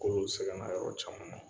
K'olu ti se kan'a yɔrɔ caman na;